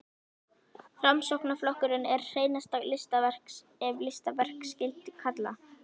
Framsóknarflokkurinn er hreinasta listaverk, ef listaverk skyldi kalla.